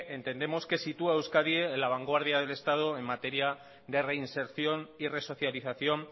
entendemos que sitúa a euskadi en la vanguardia del estado en materia de reinserción y resocialización